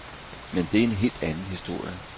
Men det er helt anden historie.